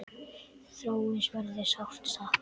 Þráins verður sárt saknað.